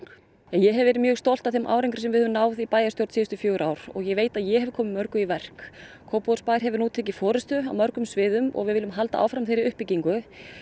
ég hef verið mjög stolt af þeim árangri sem við höfum náð í bæjarstjórn síðustu fjögur ár og ég veit að ég hef komið mörgu í verk Kópavogsbær hefur tekið forystu á mörgum sviðum og við viljum halda áfram þeirri uppbyggingu